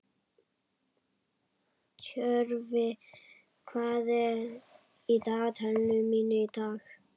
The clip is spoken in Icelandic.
Tjörvi, hvað er í dagatalinu mínu í dag?